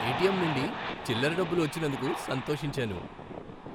ATM నుండి చిల్లర డబ్బులు వచ్చినందుకు సంతోషించాను.